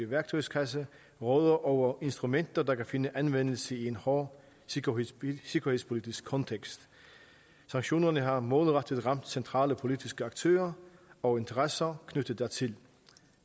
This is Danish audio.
værktøjskasse råder over instrumenter der kan finde anvendelse i en hård sikkerhedspolitisk sikkerhedspolitisk kontekst sanktionerne har målrettet ramt centrale politiske aktører og interesser knyttet hertil